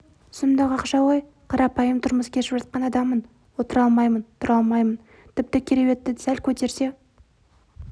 сұмдық ақша ғой қарапайым тұрмыс кешіп жатқан адаммын отыра алмаймын тұра алмаймын тіпті кереуетті сәл көтерсе